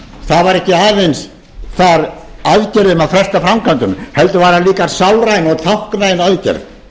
það var ekki aðeins þar aðgerðin að fresta framkvæmdum heldur var hún líka sálræn og táknræn aðgerð